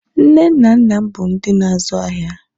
nne na nna m bụ ndị n' azu ahịa